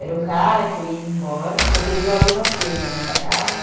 Era um cara que ia embora, porque viu a luz acesa, né, da casa.